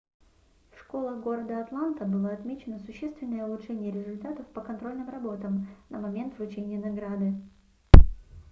в школах города атланта было отмечено существенное улучшение результатов по контрольным работам на момент вручения награды